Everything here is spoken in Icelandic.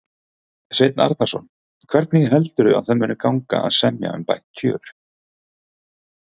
Sveinn Arnarson: Hvernig heldurðu að það muni gangi að semja um bætt kjör?